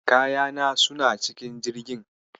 Kayana suna cikin Jirgin.